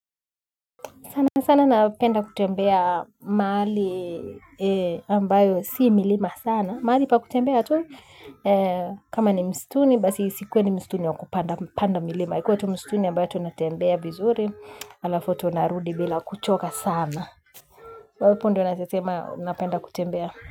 Sana sana napenda kutembea mahali ambayo si milima sana. Mahali pa kutembea tu kama ni msituni basi usikuwe ni msituni wakupanda milima. Ikuwe tu msituni ambayo tunatembea vizuri alafu tunarudi bila kuchoka sana. Wapo ndiyo naweza sema napenda kutembea.